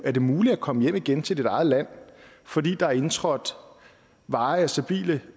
er det muligt at komme hjem igen til dit eget land fordi der er indtrådt varige og stabile